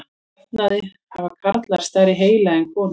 Að jafnaði hafa karlar stærri heila en konur.